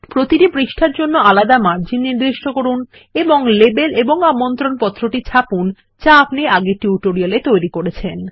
প্রতিটি পৃষ্ঠার জন্য আলাদা মার্জিন নির্দিষ্ট করুন এবং লেবেল এবং আমন্ত্রণপত্রটি ছাপুন যা আপনি আগের টিউটোরিয়াল এ তৈরি করেছেন